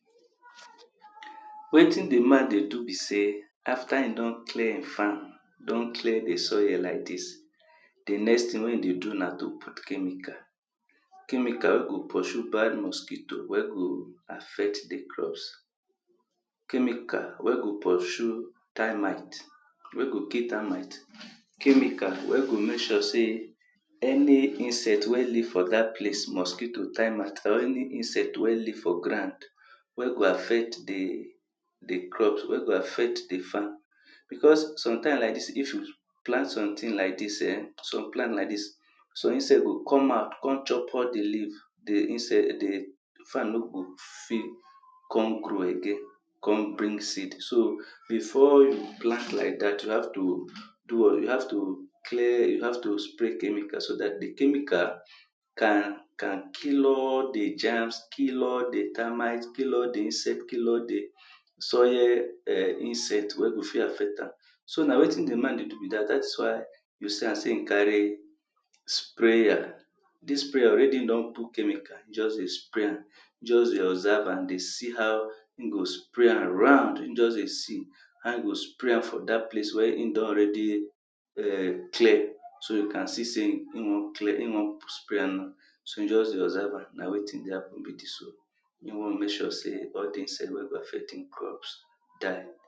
Wetin di man dey do be sey after e don clear im farm don clear di soile like dis, di next thing wey e dey do na to put chemical chemical go pursue bad mosquito wey go affect di crops, chemical wey go pursue termite, wey go kill termite. Chemical wey go make sure sey any insect wey live for dat place mosquito, termite or any insect wey live for ground wey go affect di, di crop wey go affect di farm becos sometimes like dis, if you plant somethig like this um, some plant like dis so insect go come out come chop of di leaves, di insce di farm no go fail come grow again, come bring seed, so before you plant like dat you have to do well you have to clear, you have to spray chemical so dat di chemical can, can kill all germs, kill all di termites, kill all di insect, kill all di soil um insect wey go fit affect am. So na wetin di man dey do, dat is why you see am sey e carry sprayer. Dis sprayer already e don put chemical just dey spray am, just dey observe am, dey see how e go spray am round, just dey see how e go spray from dat place wey e don already um clear so can see sey e wan clear, e wan spray am now, so just dey observe am, na wetin e wan do now so e wan make sure sey all dis e wan mek sure sey all di insect wey go affect im crop die.